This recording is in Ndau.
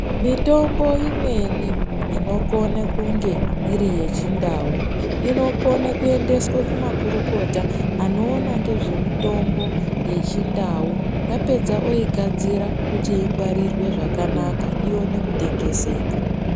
Mitombo imweni inokone kunge iri yechindau, inokone kuendeswe kumakurukota, anoona ngezvemitombo yechindau ,yapedza oigadzira kuti ingwarirwe zvakanaka ione kutengeseka.